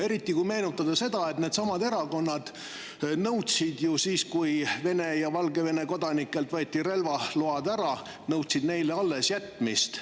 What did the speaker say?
Eriti, kui meenutada seda, et needsamad erakonnad nõudsid ju siis, kui Vene ja Valgevene kodanikelt võeti ära relvaload, neile nende allesjätmist.